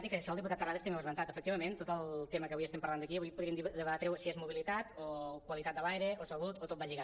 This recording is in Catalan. i que això el diputat terrades tam·bé ho ha esmentat efectivament tot el tema que avui estem parlant aquí avui po·dríem debatre·ho si és mobilitat o qualitat de l’aire o salut o tot va lligat